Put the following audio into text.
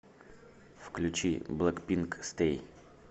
включи блэкпинк стэй